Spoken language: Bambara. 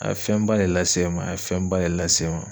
A ye fɛnba de lase ma a ye fɛnba de lase ma.